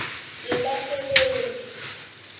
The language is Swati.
yebasebenti